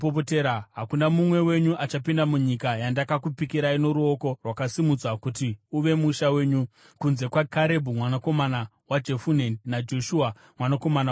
Hakuna mumwe wenyu achapinda munyika yandakakupikirai noruoko rwakasimudzwa kuti uve musha wenyu, kunze kwaKarebhu mwanakomana waJefune naJoshua mwanakomana waNuni.